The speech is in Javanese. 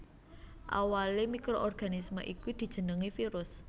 Awalé mikroorganisme iku dijenengi virus